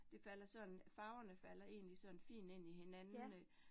Det falder sådan, farverne falder egentlig sådan fint ind i hinanden øh